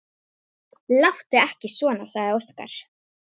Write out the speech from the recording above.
Láttu ekki svona, sagði Óskar.